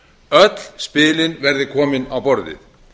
öll spilin verði komin á borðið